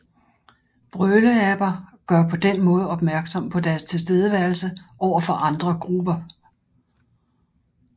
Brøleaber gør på den måde opmærksom på deres tilstedeværelse over for andre grupper